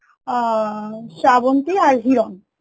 আ শ্রাবন্তী আর হিরণ